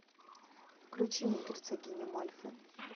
включи мне герцогиня мальфи